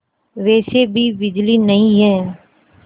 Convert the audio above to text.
वैसे भी बिजली नहीं है